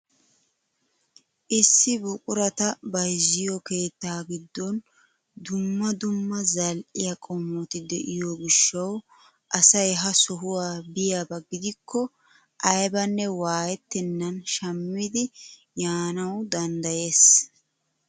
Issi buqurata bayzziyoo keettaa giddon dumma dumma zal"iyaa qomoti de'iyoo giishshawu asay ha sohuwaa biyaaba gidikko aybanne waayettenan shammidi yaanawu danddayees.